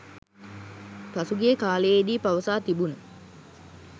පසුගිය කාලයේදී පවසා තිබුණ